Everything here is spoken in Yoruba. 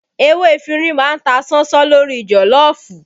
Ewé efinrin má ń ta ṣánṣán lórí joloofu